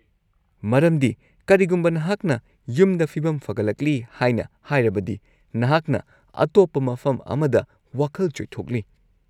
-ꯃꯔꯝꯗꯤ, ꯀꯔꯤꯒꯨꯝꯕ ꯅꯍꯥꯛꯅ ꯌꯨꯝꯗ ꯐꯤꯕꯝ ꯐꯒꯠꯂꯛꯂꯤ ꯍꯥꯏꯅ ꯍꯥꯏꯔꯕꯗꯤ, ꯅꯍꯥꯛꯅ ꯑꯇꯣꯞꯄ ꯃꯐꯝ ꯑꯃꯗ ꯋꯥꯈꯜ ꯆꯣꯏꯊꯣꯛꯂꯤ꯫